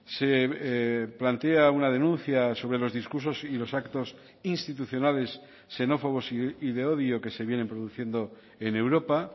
se plantea una denuncia sobre los discursos y los actos institucionales xenófobos y de odio que se vienen produciendo en europa